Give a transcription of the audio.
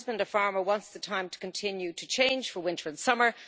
My husband, a farmer, wants the time to continue to change for winter and summer.